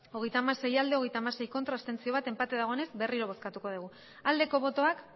hogeita hamasei bai hogeita hamasei ez bat abstentzio enpate dagoenez berriro bozkatuko dugu aldeko botoak